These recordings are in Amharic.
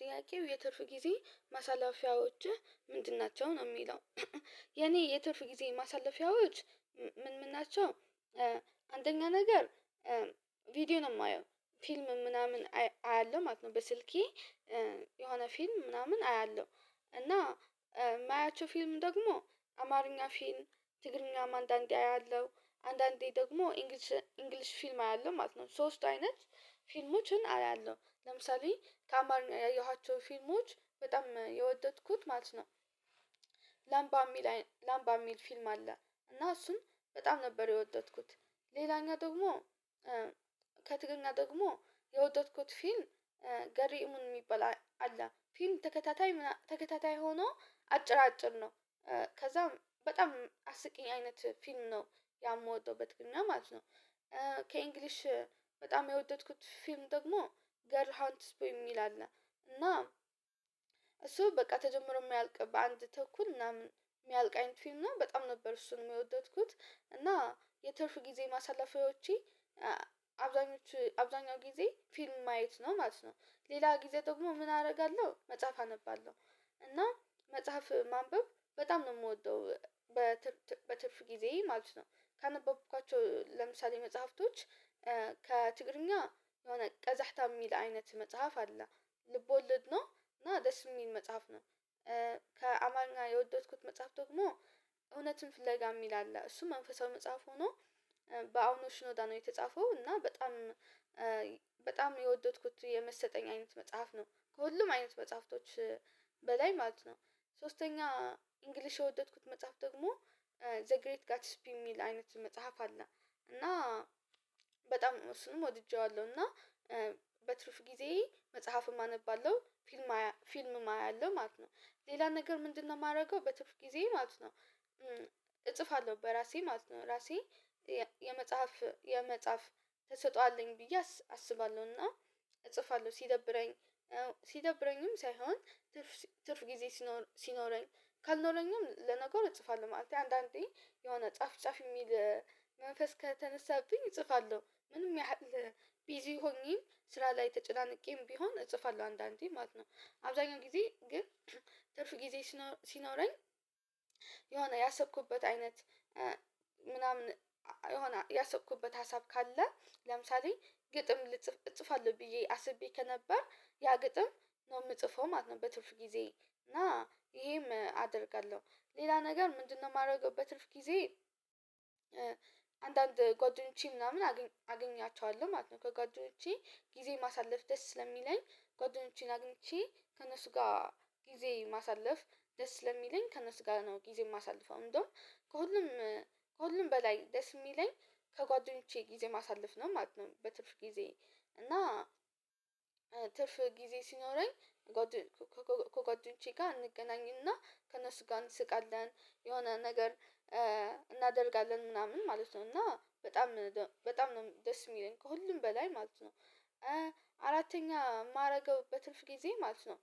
ጥያቄው የትርፍ ጊዜ ማሳለፊያዎችህ ምንድን ናቸው ነው የሚለው የኔ የትርፍ ጊዜ ማሳለፊያዎች ምን ምን ናቸው አንደኛ ነገር ቪዲዮ ነው የማየው ፊልም ምናምን አያለሁ ማለት ነው በስልኬ የሆነ ፊልም ምናምን አያለሁ እና የማያቸው ፊልም ደግሞ አማርኛ ፊልም ትግርኛም አንዳንዴ አያለሁ አንዳንዴ ደግሞ እንግሊሽ እንግሊሽ ፊልም አያለሁ ማለት ነው ሶስት አይነት ፊልሞችን አያለሁ ለምሳሌ ከአማርኛ ያየኋቸው ፊልሞች በጣም የወደድኩት ማለት ነው ላምባ የሚል ላምባ የሚል ፊልም አለ እና እሱን በጣም ነበር የወደድኩት ሌላኛ ደግሞ ከትግርኛ ደግሞ የወደድኩት ፊልም ገርኢሙን የሚባል አለ ፊልም ተከታታይ ምናምን ተከታታይ ሆኖ አጭር አጭር ነው ከዛም በጣም አስቂኝ አይነት ፊልም ነው ያ የምወደው በትግረኛ ማለት ነው ከእንግሊሽ በጣም የወደድኩት ፊልም ደግሞ ገር ሃንትስፖይ የሚል አለ። እና እሱ በቃ ተጀምሮ የማያልቅ በአንድ ተኩል እና ምናምን የሚያልቅ አይነት ፊልም እና በጣም ነበር እሱን የወደድኩት እና የትርፍ ጊዜ ማሳለፊያዎቼ አብዛኞች አብዛኛው ጊዜ ፊልም ማየት ነው ማለት ነው ሌላ ጊዜ ደግሞ ምን አርጋለሁ መጽሐፍ አነባለሁ እና መጽሐፍ ማንበብ በጣም ነው የምወደው በትርፍ ጊዜ ማለት ነው ካነበብኳቸው ለምሳሌ መጽሐፍቶች ከትግርኛ የሆነ ቀዛህታ የሚል አይነት መጽሐፍ አለ ልቦለድ ነው እና ደስ የሚል መጽሐፍ ነው ከአማኛ የወደድኩት መጽሐፍ ደግሞ እውነትን ፍለጋ የሚል አለ እሱ መንፈሳዊ መጽሐፍ ሆኖ በአውኖሽ ኖዳ ነው የተጻፈው። እና በጣም የወደድኩት የመሰጠኝ አይነት መጽሐፍ ነው ከሁሉም አይነት መጽሐፍቶች በላይ ማለት ነው ሶስተኛ እንግሊሽ የወደድኩት መጽሐፍ ደግሞ ዘ ግሬት ጋትስ ፒም የሚል አይነት መጽሐፍ አለ እና በጣም እሱንም ወድጄዋለሁ እና በትርፍ ጊዜ መጽሐፍም አነባለሁ ፍልም አያለሁ ፊልምም አያለሁ ማለት ነው። ሌላ ነገር ምንድነው ማርገው በትርፍ ጊዜ ማለት ነው እጽፋለሁ በራሴ ማለት ነው እራሴ የመጽሐፍ የመጽሐፍ ትሰጠዋለኝ ብዬ አስባለሁና እጽፋለሁ ስደብረኝ ስደብረኝም ሳይሆን ትርፍ ትርፍ ጊዜ ሲኖረኝ ካልኖረኝም ለነገር እጽፋለሁ ማለት ነው አንዳንዴ የሆነ ጻፍ ጻፍ የሚል መንፈስ ከተነሳብኝ እጽፋለሁ ምንም ያህል ቢዚ ሆኜ ስራ ላይ ተጨናንቄም ቢሆን እጽፋለሁ አንዳንዴ ማለት ነው አብዛኛው ጊዜ ግን ትርፍ ጊዜ ሲኖረኝ የሆነ ያሰኩበት አይነት ምናምን የሆነ ያሰብኩበት ሀሳብ ካለ ለምሳሌ ግጥም ልጽፍ እጽፋለሁ ብዬ አስቤ ከነበር ያ ግጥም ነው የምጽፈው ማለት ነው በትርፍ ጊዜ እና ይሄም አደርጋለሁ ሌላ ነገር ምንድነው የማደርገው በትርፍ ጊዜ አንዳንድ ጓደኞቼ ምናምን አገኛቸዋለሁ ማለት ነው። ከጓደኞቼ ጊዜ ማሳለፍ ደስ ስለሚለኝ ጓደኞቼን አግኝቼ ከእነሱ ጋር ጊዜ ማሳለፍ ደስ ለሚለኝ ከእነሱ ጋር ነው ጊዜ ማሳልፈው እንደውም ከሁሉም ከሁሉም በላይ ደስ የሚለኝ ከጓደኞቼ ጊዜ ማሳለፍ ነው ማለት ነው በትርፍ ጊዜ እና ትርፍ ጊዜ ሲኖረኝ ከጓደኞቼ ጋር እንገናኝና ከነሱ ጋር እንስቃለን የሆነ ነገር እናደርጋለን ምናምን ማለት ነው እና በጣም በጣም ነው ደስ የሚለኝ ከሁሉም በላይ ማለት ነው አራተኛ ማደርገው በትልፍ ጊዜ ማለት ነው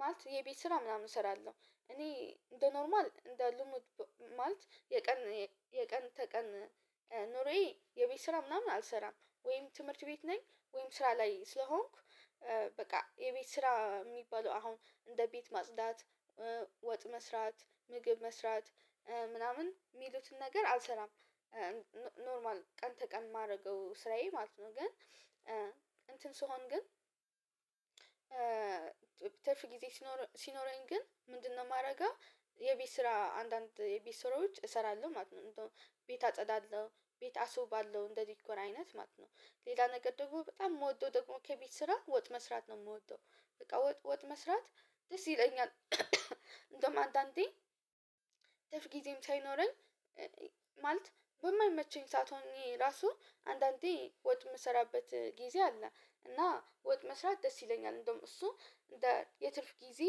ማለት የቤት ስራ ምናምን እሰራለሁ እኔ እንደ ኖርማል እንደ ልሙድ ማለት የቀን የቀን ተቀን ኑሬ የቤት ስራ ምናምን አልሰራም ወይም ትምህርት ቤት ነኝ ወይም ስራ ላይ ስለሆንኩ በቃ የቤት ስራ ሚባለው አሁን እንደ ቤት ማጽዳት ወጥ መስራት ምግብ መስራት ምናምን ሚሉትን ነገር አልሰራም ቀን ተቀን ማርገው ስራዬ ማለት ነው ግን እንትን ስሆን ግን ትርፍ ጊዜ ሲኖረኝ ግን ምንድነው ማደርገው የቤት ስራ አንዳንድ የቤት ስራዎች እሰራለሁ ማለት ነው ቤት አጸዳለሁ ቤት አሱ ባለው እንደ ዲኮር አይነት ማለት ነው ሌላ ነገር ደግሞ በጣም ምወደው ደግሞ ከቤት ስራ ወጥ መስራት ነው የምወደው በቃ ወጥ ወጥ መስራት ደስ ይለኛል እንደውም አንዳንዴ ትርፍ ጊዜም ሳይኖረኝ ማለት በማይመቸኝ ሳትሆን እኔ ራሱ አንዳንዴ ወጥ የምሰራበት ጊዜ አለ እና ወጥ መስራት ደስ ይለኛል እንደውም እሱ እንደ የትርፍ ጊዜ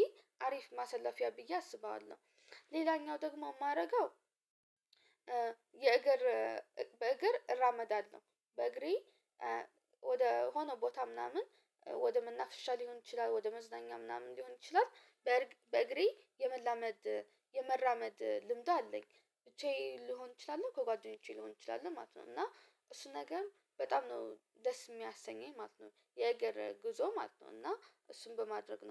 አሪፍ ማሰላፊያ ብዬ አስባዋለሁ ሌላኛው ደግሞ ማረጋው የእግር በእግር እራመዳለሁ በእግሬ ወደ ሆኖ ቦታ ምናምን ወደ መናፍሻ ልሆን ይችላል ወደ መዝናኛ ምናምን ልሆን ይችላል በእግሬ የመላመድ የመራመድ ልምድ አለኝ ብቻዬን ልሆን እችላለሁ ከጓደኞቼ ልሆን እችላለሁ ማለት ነው እና እሱን ነገር በጣም ነው ደስ የሚያሰኘኝ ማለት ነው የገረ ጉዞ ማለት ነው እና እሱን በማድረግ ነው